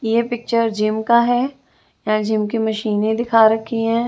ये picture gym का है यें जिम के मशीन दिखा रखी है।